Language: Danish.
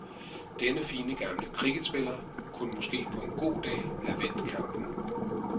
Denne fine gamle cricketspiller kunne måske på en god dag have vendt kampen.